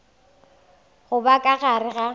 go ba ka gare ga